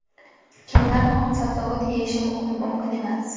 Kimlar xom sabzavot yeyishi mumkin emas?.